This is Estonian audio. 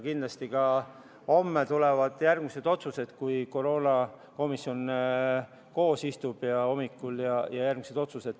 Kindlasti tulevad homme ka järgmised otsused, koroonakomisjon istub hommikul koos ja teeb edasised otsused.